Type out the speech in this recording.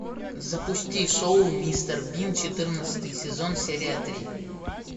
запусти шоу мистер бин четырнадцатый сезон серия три